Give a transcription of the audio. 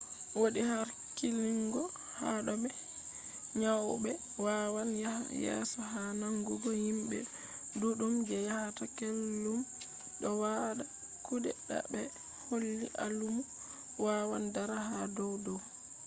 wodi harkilungo ha do be nyauɓe wawan yaha yeso ha nangugo himɓe ɗuɗɗum je yahata kullum do wada kuɗe ta ɓe holli alamu wawan dara ha dow dow